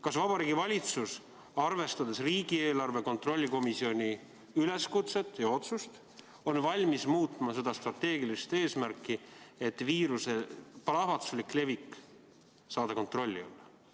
Kas Vabariigi Valitsus, arvestades riigieelarve kontrolli erikomisjoni üleskutset ja otsust, on valmis muutma oma strateegilist eesmärki, et saada viiruse plahvatuslik levik kontrolli alla?